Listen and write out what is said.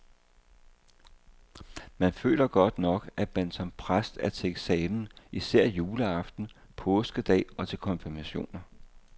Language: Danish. Men man føler godt nok, at man som præst er til eksamen især juleaften, påskedag og til konfirmationer.